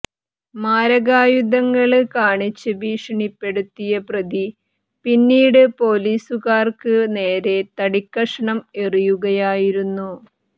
മാരകായുധങ്ങള് കാണിച്ച് ഭീഷണിപ്പെടുത്തിയ പ്രതി പിന്നീട് പൊലീസുകാര്ക്ക് നേരെ തടിക്കഷ്ണം എറിയുകയായിരുന്നു